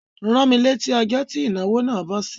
Rán mí létí ọjó ti ìnáwó nà bọ́ sí!